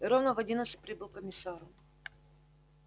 и ровно в одиннадцать прибыл к комиссару